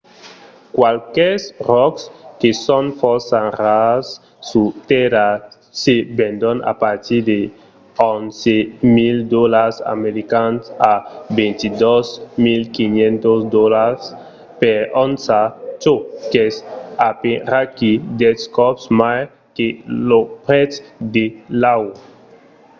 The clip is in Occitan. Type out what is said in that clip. qualques ròcs que son fòrça rars sus tèrra se vendon a partir d'11.000 dolars americans a 22.500$ per onça çò qu'es aperaquí dètz còps mai que lo prètz de l'aur